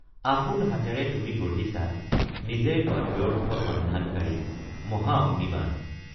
আপোন হাতেৰে তুমি গঢ়িছা নিজেই অব্যৰ্থ সন্ধানকাৰী মহা অগ্নিবাণ!